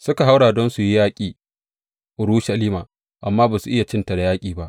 suka haura don su yaƙi Urushalima, amma ba su iya cinta da yaƙi ba.